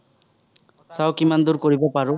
কিমান দুৰ কৰিব পাৰোঁ।